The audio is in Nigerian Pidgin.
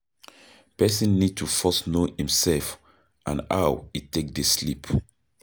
Person need to first know im self and how e take dey sleep